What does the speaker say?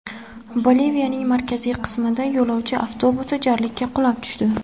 Boliviyaning markaziy qismida yo‘lovchi avtobusi jarlikka qulab tushdi.